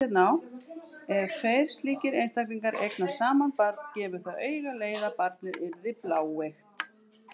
Ef tveir slíkir einstaklingar eignast saman barn gefur það auga leið að barnið yrði bláeygt.